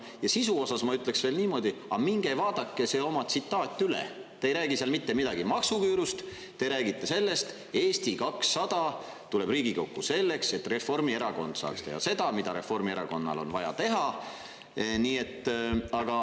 Ja sisu osas ma ütleksin veel niimoodi, aga minge vaadake oma tsitaat üle, te ei räägi seal mitte midagi maksuküürust, te räägite sellest, et Eesti 200 tuleb Riigikokku selleks, et Reformierakond saaks teha seda, mida Reformierakonnal on vaja teha.